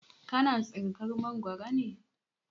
Ka na tsinkar Mangwaro ne?